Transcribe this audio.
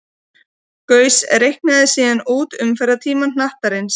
Gauss reiknaði síðan út umferðartíma hnattarins.